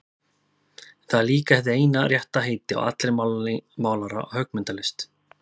En það er líka hið eina rétta heiti á allri málara- og höggmyndalist.